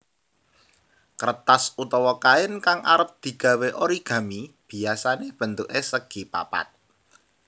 Kertas utawa kain kang arep digawé origami biyasane bentuke segipapat